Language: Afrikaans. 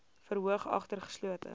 verhoor agter geslote